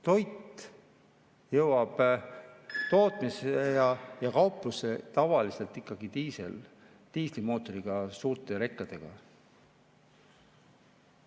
Toit jõuab tootmisse ja kauplusse tavaliselt ikkagi diiselmootoriga, suurte rekadega.